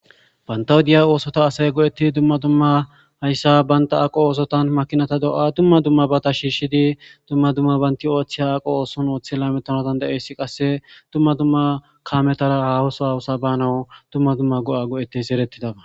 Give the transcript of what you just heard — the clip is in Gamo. Bantawu diya oosota asay go'etti dumma dumma hayssa baynta aqo oosotan makinata do'a dumma dumma bata shiishidi dumma dumma baynti ooththeya aqo ooson ooththela metonadan dayeyssi qasse dumma dumma kametara hahoso hawusa banawu dumma dumma go7a go'ettes erettidaba.